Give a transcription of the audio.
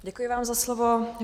Děkuji vám za slovo.